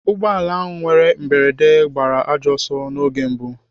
Ụgbọala ahụ nwere mberede gbara ajọ ọsọ n'oge mbụ.